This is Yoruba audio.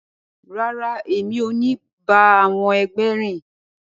Rara, emi o ni ba àwọn ẹgbẹ rìn!